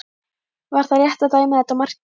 Var það rétt að dæma þetta mark gilt?